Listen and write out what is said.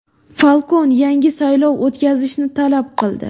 Falkon yangi saylov o‘tkazishni talab qildi.